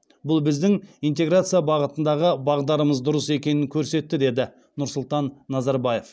бұл біздің интеграция бағытындағы бағдарымыз дұрыс екенін көрсетті деді нұрсұлтан назарбаев